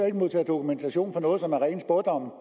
ikke modtage dokumentation for noget som er rene spådomme